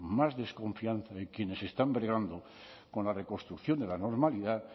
más desconfianza en quienes están bregando con la reconstrucción de la normalidad